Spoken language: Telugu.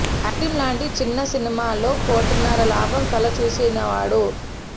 ఐస్ క్రీమ్ లాంటి చిన్న సినిమాలో కోటిన్నర లాభం కళ్ల చూసినవాడు